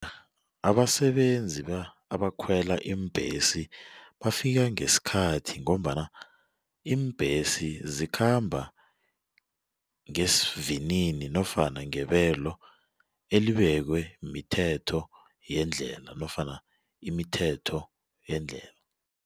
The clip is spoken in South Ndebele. Abasebenzi abakhwela iimbhesi bafika ngesikhathi ngombana iimbhesi zikhamba ngesivinini nofana ngebelo elibekwe mithetho yendlela nofana imithetho yendlela.